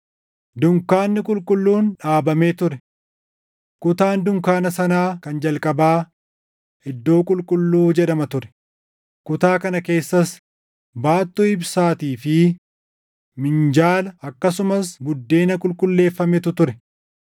Dunkaanni qulqulluun dhaabamee ture. Kutaan dunkaana sanaa kan jalqabaa, “Iddoo Qulqulluu” jedhama ture; kutaa kana keessas baattuu ibsaatii fi minjaala akkasumas buddeena qulqulleeffametu ture.